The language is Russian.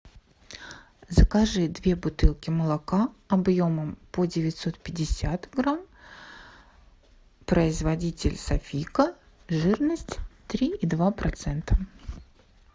закажи две бутылки молока объемом по девятьсот пятьдесят грамм производитель софийка жирность три и два процента